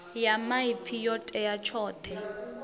ya maipfi yo tea tshoṱhe